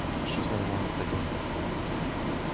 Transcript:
а что за него надо делать то